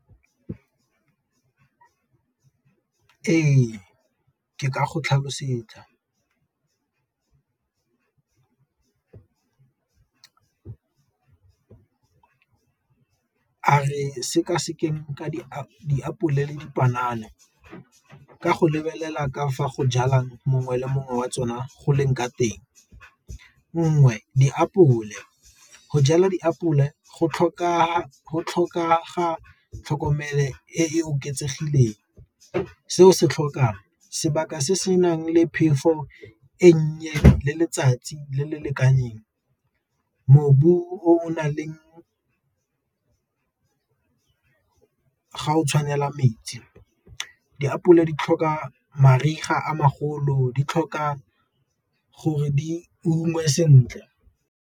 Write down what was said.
Ee, ke ka go tlhalosetsa a re seka-sekeng ka diapole le dipanana ka go lebelela ka fa go jalang mongwe le mongwe wa tsona go leng ka teng, nngwe diapole go jala diapole go tlhokega tlhokomelo e e oketsegileng. Seo se tlhokang sebaka se se nang le phefo e nnye le letsatsi le le lekaneng, mobu o o nang leng ga o tshwanela metsi, diapole di tlhoka mariga a magolo di tlhoka gore di ungwe sentle.